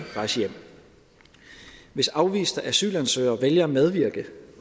rejse hjem hvis afviste asylansøgere vælger at medvirke